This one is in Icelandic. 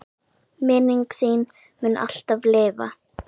Minning þín mun alltaf lifa.